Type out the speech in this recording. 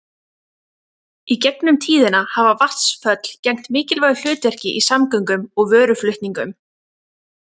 Í gegnum tíðina hafa vatnsföll gegnt mikilvægu hlutverki í samgöngum og vöruflutningum.